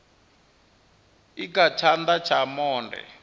i kha tshana tsha monde